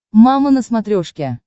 мама на смотрешке